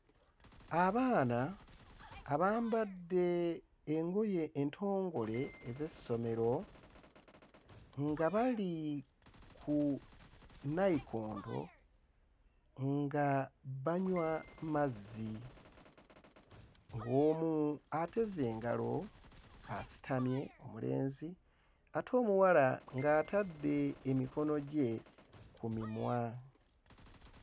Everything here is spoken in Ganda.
Abaana abambadde engoye entongole ez'essomero nga bali ku nnayikondo nga banywa mazzi. Omu ateze engalo asitamye omulenzi ate omuwala ng'atadde emikono gye ku mimwa.